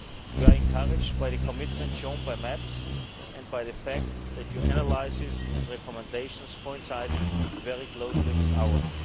We are encouraged by the commitment shown by MEPs and by the fact that your analyses and recommendations coincide very closely with ours.